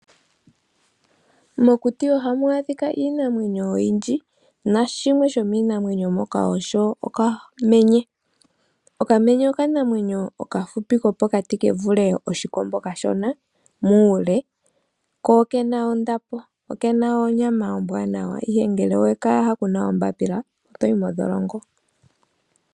Mokuti ohamu adhika iinamwenyo oyindji, nashimwe shomiinamwenyo moka osho okamenye. Okamenye okanamwenyo okafupi kopokati kevule oshikombo kashona muule ko okena ondapo. Okena onyama ombwaanawa ihe ngele owe kayaha kuna ombaapila, otoyi modholongo.